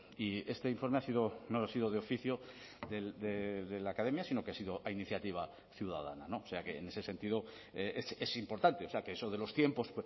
y este informe ha sido no ha sido de oficio de la academia sino que ha sido a iniciativa ciudadana o sea que en ese sentido es importante o sea que eso de los tiempos